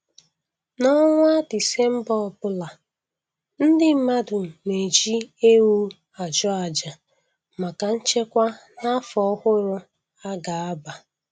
N'ọnwa Disemba ọbụla, ndị mmadụ na-eji ewu achụ aja maka nchekwa n'afọ ọhụrụ a ga-aba